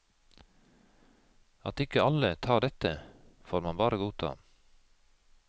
At ikke alle tar dette, får man bare godta.